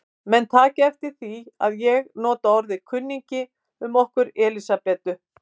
Menn taki eftir því að ég nota orðið kunningi um okkur Elsabetu.